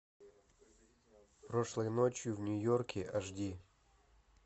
прошлой ночью в нью йорке аш ди